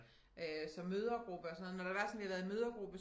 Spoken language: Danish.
Øh så mødregruppe og sådan når det var sådan vi havde været i mødregruppe